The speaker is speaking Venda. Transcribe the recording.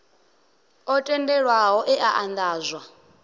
o tendelwaho e a andadzwa